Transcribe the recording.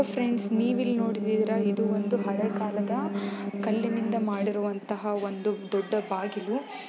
friends ನೀವು ಇಲ್ಲಿ ನೋಡಿದಿರಾ ಇದು ಒಂದು ಹಳೆ ಕಾಲದ ಕಲ್ಲಿನಿಂದ ಮಾಡಿರುವಂತಹ ಒಂದು ದೊಡ್ಡ ಬಾಗಿಲು --